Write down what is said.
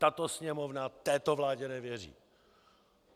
Tato Sněmovna této vládě nevěří.